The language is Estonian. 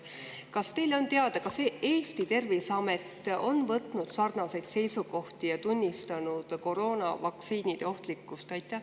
Kas teile on teada, et Eesti terviseamet oleks võtnud sarnaseid seisukohti ja tunnistanud koroonavaktsiinide ohtlikkust?